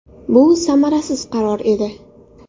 Bu samarasiz qaror edi.